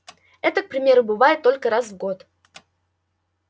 это к примеру бывает только раз в год